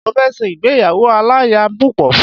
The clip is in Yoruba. Mo fẹ ṣe ìgbéyàwó aláya púpọ̀